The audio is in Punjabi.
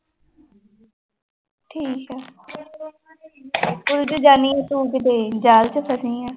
ਉਲਝ ਜਾਨੀ ਹੈ ਤੂੰ ਕਿਤੇ